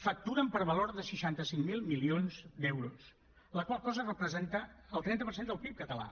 facturen per valor de seixanta cinc mil milions d’euros la qual cosa representa el trenta per cent del pib català